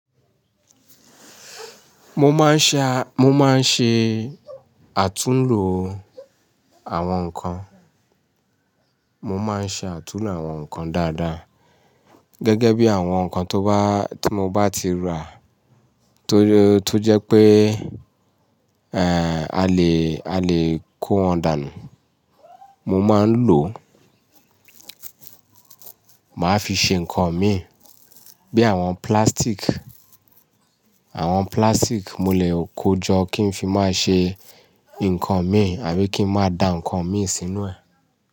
Mo máa ń ṣe, mo máa ń ṣe àtúnlo àwọn ǹkan, mo máa ń ṣe àtúnlo àwọn ǹkan dáadáa gẹ́gẹ́ bí àwọn ǹkan tó bá, tí mo bá ti rà tó jẹ́ pé, eh, a lè, a lè kó wọn dànù. Mo máa ń lò, màá fi ṣe ǹkan mi bí àwọn plastic. Àwọn plastic mo lè kojọ kí n fi máa ṣe ǹkan mi àbí kí n máa da nkan mi sínú ẹ̀